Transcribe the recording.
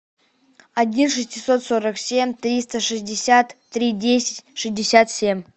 один шестисот сорок семь триста шестьдесят три десять шестьдесят семь